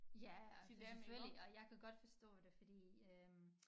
Ja altså selvfølgelig og jeg kan godt forstå det fordi øh